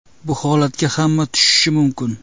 Bu holatga hamma tushishi mumkin.